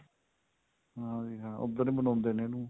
ਹਾਂਜੀ ਹਾਂ ਉੱਧਰ ਹੀ ਮਨਾਉਂਦੇ ਨੇ ਇਹਨੂੰ